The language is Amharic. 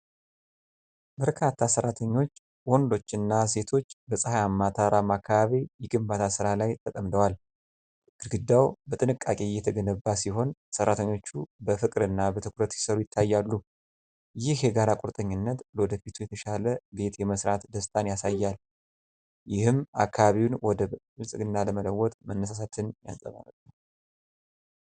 በርካታ ሠራተኞች ወንዶችና ሴቶች በፀሐያማ ተራራማ አካባቢ የግንባታ ሥራ ላይ ተጠምደዋል። ግድግዳው በጥንቃቄ እየተገነባ ሲሆን፤ ሠራተኞቹ በፍቅርና በትኩረት ሲሰሩ ይታያሉ። ይህ የጋራ ቁርጠኝነት ለወደፊቱ የተሻለ ቤት የመሥራት ደስታን ያሳያል፤ ይህም አካባቢውን ወደ ብልጽግና ለመለወጥ መነሳሳትን ያንፀባርቃል።